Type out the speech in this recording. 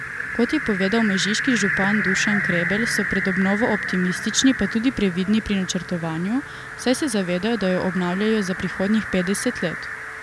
Kot je povedal mežiški župan Dušan Krebel, so pred obnovo optimistični, pa tudi previdni pri načrtovanju, saj se zavedajo, da jo obnavljajo za prihodnjih petdeset let.